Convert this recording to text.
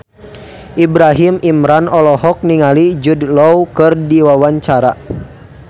Ibrahim Imran olohok ningali Jude Law keur diwawancara